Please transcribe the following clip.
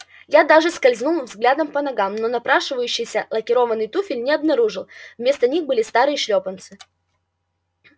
я даже скользнул взглядом по ногам но напрашивающийся лакированный туфель не обнаружил вместо них были старые шлёпанцы